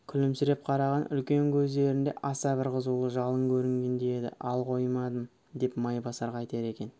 күлімсіреп қараған үлкен көздерінде аса бір қызулы жалын көрінгендей еді ал қоймадым деп майбасар қайтер екен